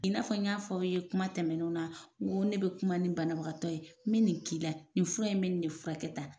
I n'a fɔ n y'a fɔ aw ye kuma tɛmɛnenw na n ko ne bɛ kuma ni banabagatɔ ye n bɛ nin k'i la nin fura in bɛ nin ne fura kɛ tan.